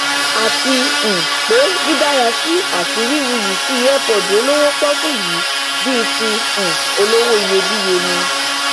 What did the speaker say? àti um pé dídárasí ati wíwuyìsí earpod olówó pọọkú yìí bíi ti um olówó iyebíye ni